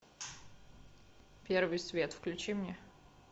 первый свет включи мне